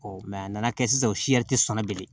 a nana kɛ sisan o tɛ sɔn ne bilen